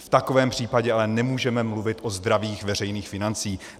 V takovém případě ale nemůžeme mluvit o zdravých veřejných financích.